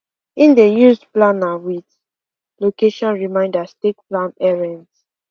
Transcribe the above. him dey use planner with location reminders take plan errends